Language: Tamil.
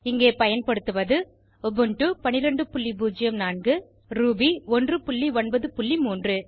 இங்கே பயன்படுத்துவது உபுண்டு 1204 ரூபி 193